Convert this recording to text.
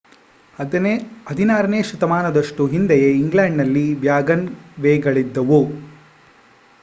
16 ನೇ ಶತಮಾನದಷ್ಟು ಹಿಂದೆಯೇ ಇಂಗ್ಲೆಂಡ್‌ನಲ್ಲಿ ವ್ಯಾಗನ್‌ವೇಗಳಿದ್ದವು